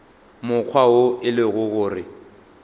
mokgwa wo e lego gore